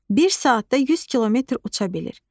Bir saatda 100 kilometr uça bilir.